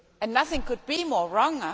Nothing could be more wrong.